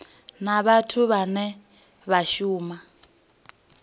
na vhathu vhane vha shuma